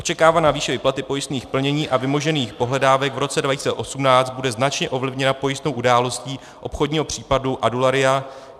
Očekávaná výše výplaty pojistných plnění a vymožených pohledávek v roce 2018 bude značně ovlivněna pojistnou událostí obchodního případu Adularya.